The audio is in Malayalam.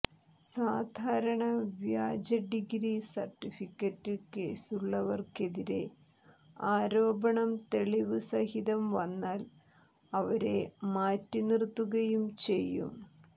സാധാരണ വ്യാജ ഡിഗ്രി സർട്ടിഫിക്കറ്റ് കേസുള്ളവർക്കെതിരെ ആരോപണം തെളിവ് സഹിതം വന്നാൽ അവരെ മാറ്റി നിർത്തുകയും ചെയ്യും